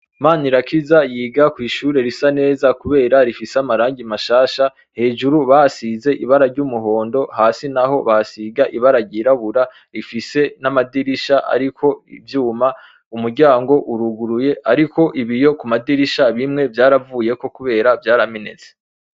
Mana irakiza yiga kwishure risa neza rifise amarangi mashasha hejuru bahasize ibara ryumurondo hasi naho bahasiga ibara ryirabura rifise namadirisha ariko ivyuma umuryango uruguruye ariko hariko ibiyo kumadirisha ane vyaravuyeko kubera vyaramenetse